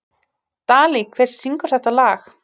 Dalí, hver syngur þetta lag?